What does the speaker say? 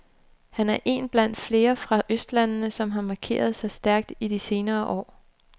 Han er én blandt flere fra østlandene, som har markeret sig stærkt i de senere år.